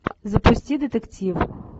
запусти детектив